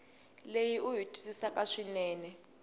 leyi u yi twisisaka swinene